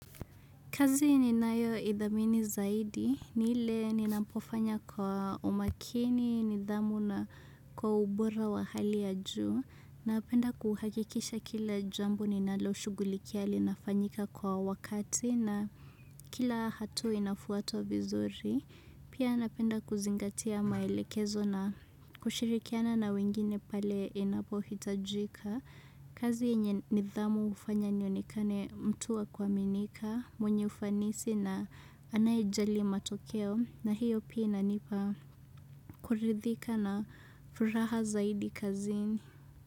Kazi ninayo ithamini zaidi, ni ile ninapofanya kwa umakini, nidhamu na kwa ubora wa hali ya juu. Napenda kuhakikisha kila jambo ninaloshughulikia linafanyika kwa wakati na kila hatua inafuatwa vizuri. Pia napenda kuzingatia maelekezo na kushirikiana na wengine pale inapohitajika. Kazi yenye nidhamu hufanya nionekane mtu wa kuaminika, mwenye ufanisi na anaye jali matokeo, na hiyo pia inipa kuridhika na furaha zaidi kazini.